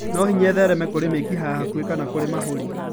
No hinya ĩthereme kũrĩ mĩkiha ya hakuhĩ kana kũrĩ mahũri.